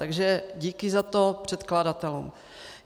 Takže díky za to předkladatelům.